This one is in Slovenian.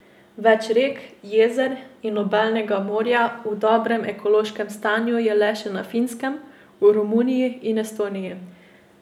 Več rek, jezer in obalnega morja v dobrem ekološkem stanju je le še na Finskem, v Romuniji in Estoniji.